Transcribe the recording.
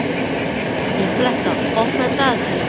Nikoletta, opnaðu dagatalið mitt.